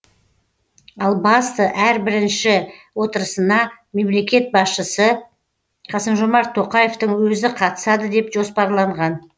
ал басты әрі бірінші отырысына мемлекет басшысы қасым жомарт тоқаевтың өзі қатысады деп жоспарланған